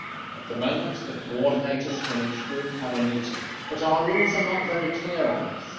At the moment, the coordinators from each Group have a meeting, but our rules are not very clear on this.